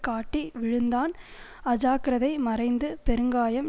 காட்டி விழுந்தான் அஜாக்கிரதை மறைந்து பெருங்காயம்